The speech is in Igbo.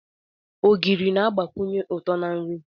Ogiri na-agbakwunye uto na nri.